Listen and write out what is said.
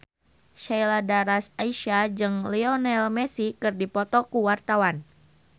Sheila Dara Aisha jeung Lionel Messi keur dipoto ku wartawan